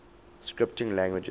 scripting languages